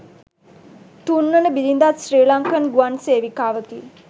තුන්වන බිරිඳත් ශ්‍රී ලංකන් ගුවන් සේවිකාවකි.